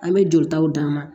An bɛ jolitaw d'a ma